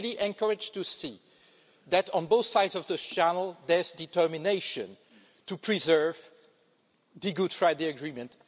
I'm really encouraged to see that, on both sides of the Channel, there is determination to preserve the Good Friday Agreement.